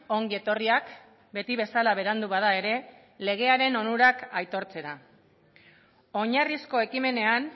ongi etorriak beti bezala berandu bada ere legearen onurak aitortzera oinarrizko ekimenean